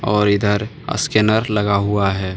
और इधर स्कैनर लगा हुआ है।